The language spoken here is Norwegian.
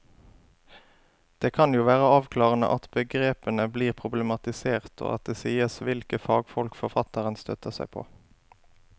Det kan jo være avklarende at begrepene blir problematisert og at det sies hvilke fagfolk forfatteren støtter seg på.